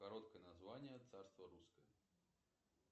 короткое название царство русское